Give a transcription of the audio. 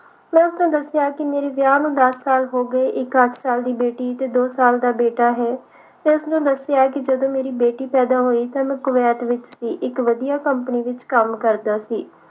ਮੈਂ ਉਸਨੂੰ ਦੱਸਿਆ ਕਿ ਮੇਰੇ ਵਿਆਹ ਨੂੰ ਦਸ ਸਾਲ ਹੋ ਗਏ ਇਕ ਅੱਠ ਸਾਲ ਦੀ ਬੇਟੀ ਤੇ ਦੋ ਸਾਲ ਦਾ ਬੇਟਾ ਹੈ ਮੈਂ ਉਸਨੂੰ ਕਿ ਜਦੋਂ ਮੇਰੀ ਬੇਟੀ ਪੈਦਾ ਹੋਈ ਤਾਂ ਮੈਂ ਕੁਵੈਤ ਵਿਚ ਸੀ ਇਕ ਵਧੀਆ company ਵਿਚ ਕੰਮ ਕਰਦਾ ਸੀ